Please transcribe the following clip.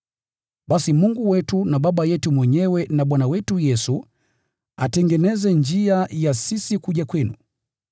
Basi Mungu wetu na Baba yetu mwenyewe na Bwana wetu Yesu atengeneze njia ya sisi kuja kwenu.